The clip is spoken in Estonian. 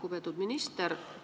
Lugupeetud minister!